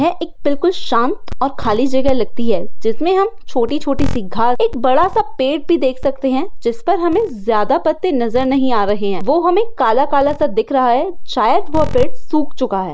यह एक बिलकुल शांत और खाली जगह लगती है। जिसमे हम छोटी छोटीसी घास एक बड़ासा पेड़ भी देख सखते है। जिसपर हमे ज्यादा पत्ते नजर नही आ रहे है वो हमे काला कालासा दिख रहा है शायद वे पेड़ सुख चुका है।